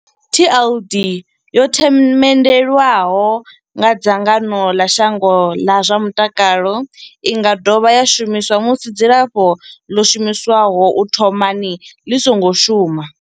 TLD Tenofovir disoproxil, Lamivudine and dolutegravir yo themendelwa nga dzangano ḽa shango ḽa zwa mutakalo. I nga dovha ya shumiswa musi dzilafho ḽo shumiswaho u thomani ḽi songo shuma.